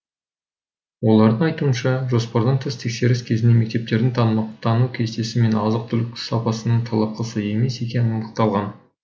олардың айтуынша жоспардан тыс тексеріс кезінде мектептердің тамақтану кестесі мен азық түлік сапасының талапқа сай емес екені анықталған